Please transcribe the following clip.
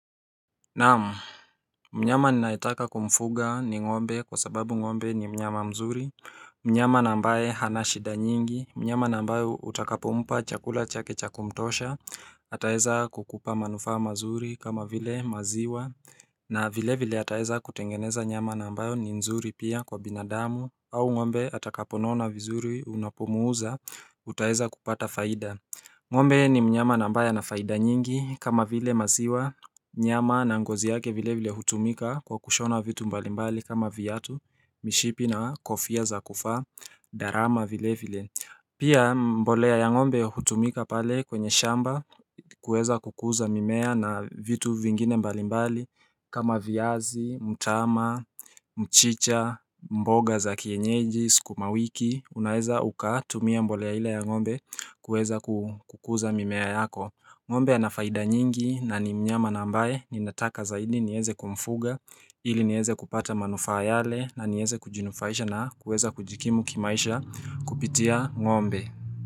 Naam, mnyama ninaetaka kumfuga ni ngombe kwa sababu ngombe ni mnyama mzuri, mnyama na ambae hana shida nyingi, mnyama na ambae utakapompa chakula chake cha kumtosha, ataeza kukupa manufaa mazuri kama vile maziwa, na vile vile ataeza kutengeneza nyama na ambayo ni nzuri pia kwa binadamu, au ngombe atakaponona vizuri unapumuuza, utaeza kupata faida. Ngombe ni mnyama na ambaye ana faida nyingi kama vile maziwa Nyama na ngozi yake vile vile hutumika kwa kushona vitu mbalimbali kama viatu Mishipi na kofia za kufaa, darama vile vile Pia mbolea ya ngombe hutumika pale kwenye shamba kuweza kukuza mimea na vitu vingine mbalimbali kama viazi, mtama, mchicha, mboga za kienyeji, sukumawiki Unaeza ukatumia mbolea ile ya ngombe kuweza kukuza mimea yako ngombe anafaida nyingi na ni mnyama na ambae ni nataka zaidi nieze kumfuga ili nieze kupata manufaa yale na nieze kujinufaisha na kuweza kujikimu kimaisha kupitia ngombe.